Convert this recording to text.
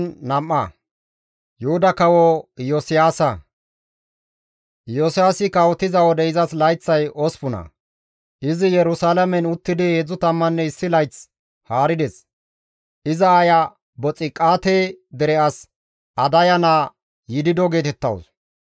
Iyosiyaasi kawotiza wode izas layththay 8. Izi Yerusalaamen uttidi 31 layth haarides; iza aaya Boxiqaate, dere as Adaya naa Yidido geetettawus.